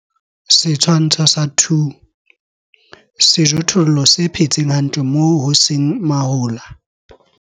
Setshwantsho sa 2. Sejothollo se phetseng hantle moo ho seng mahola.